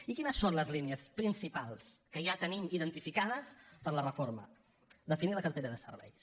i quines són les línies principals que ja tenim identificades per a la reforma definir la cartera de serveis